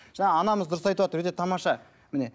жаңа анамыз дұрыс айтып отыр өте тамаша міне